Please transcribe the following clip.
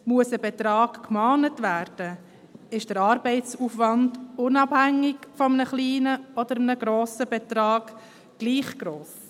Muss ein Betrag gemahnt werden, ist der Arbeitsaufwand, unabhängig davon, ob es ein kleiner oder ein grosser Betrag ist, gleich gross.